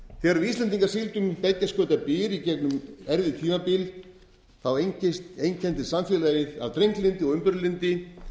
við íslendingar sigldum beggja skauta byr í gegnum erfið tímabil einkenndist samfélagið af drenglyndi og umburðarlyndi